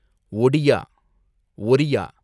Odia, Oriya